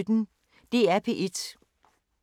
DR P1